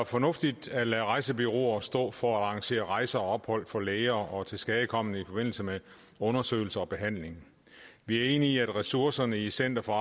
fornuftigt at lade rejsebureauer stå for at arrangere rejser og ophold for læger og tilskadekomne i forbindelse med undersøgelse og behandling vi er enige i at ressourcerne i center for